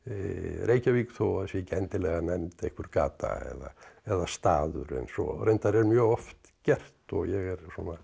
Reykjavík þó það sé ekki endilega nefnd einhver gata eða staður eins og reyndar er mjög oft gert og ég er